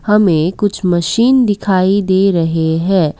हमें कुछ मशीन दिखाई दे रहे हैं।